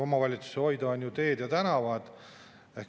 Omavalitsuste hoida on teed ja tänavad.